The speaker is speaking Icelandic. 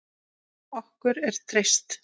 Okkur er treyst